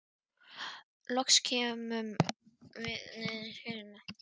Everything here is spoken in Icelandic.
Loks komum við niður í fjöruna.